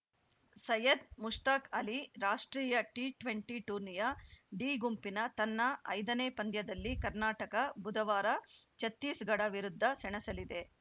ಸಯ್ಯದ್‌ ಮುಷ್ತಾಕ್‌ ಅಲಿ ರಾಷ್ಟ್ರೀಯ T twenty ಟೂರ್ನಿಯ D ಗುಂಪಿನ ತನ್ನ ಐದನೇ ಪಂದ್ಯದಲ್ಲಿ ಕರ್ನಾಟಕ ಬುಧವಾರ ಛತ್ತೀಸ್‌ಗಢ ವಿರುದ್ಧ ಸೆಣಸಲಿದೆ